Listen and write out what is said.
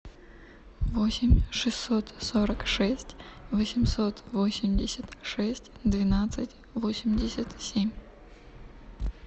восемь шестьсот сорок шесть восемьсот восемьдесят шесть двенадцать восемьдесят семь